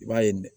I b'a ye